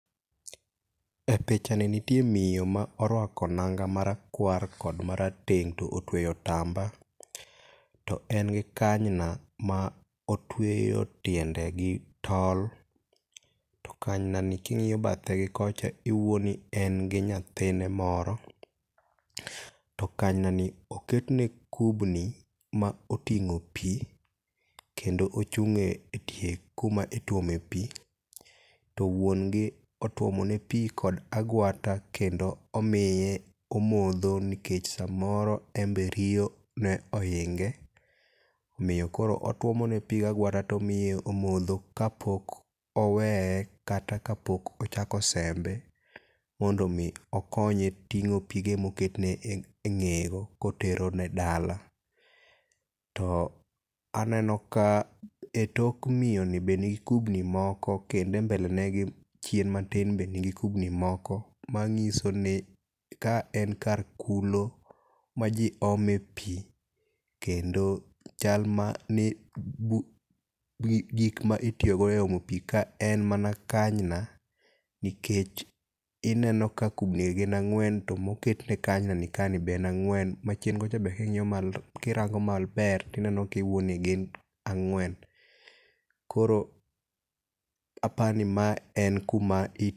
E pichani nitie miyo ma orwako nanga marakwar kod marateng' to otweyo otamba. To en gi kanyna ma otweyo tiende gi tol. To kanyna ni king'iyo bathe gi kocha, iwuoni en gi nyathine moro. To kanyna ni oketne kubni ma oting'o pii, kendo ochung'e etie kuma ituomo e pii to wuon gi otuomo ne pii kod agwata kendo omiye omodho nikech samoro embe riyo ne ohinge. Omiyo koro otuomo ne pii gagwata tomiye omodho kapok owee kata kapok ochako sembe mondo mi okonye ting'o pige moketne e eng'eyego kotero ne dala. To aneno ka etok miyoni be nigi kubni moko kendo e mbele ne gi chien matin be nigi kubni moko, mang'iso ni ka en kar kulo ma jii ome pii. Kendo chal ma ni gi gik ma itiyo go e omo pii ka en mana kanyna, nikech ineno ka kubni gi gin ang'wen to moketne kanyna ni ka be en ang'wen, machien kocha be king'iyo malo kirango maber tineno kiwuoni gin ang'wen. Koro apani ma en kuma